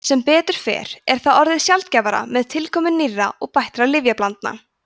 sem betur fer er það orðið sjaldgæfara með tilkomu nýrra og bættra lyfjablandna